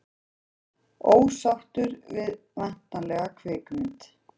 Ósáttur við væntanlega kvikmynd